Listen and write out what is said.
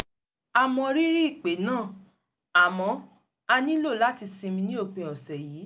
a mọ rírì ìpè náà àmọ́ a nílò láti sinmi ní òpin ọ̀sẹ̀ yìí